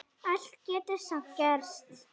Allt getur samt gerst.